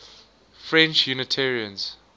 french unitarians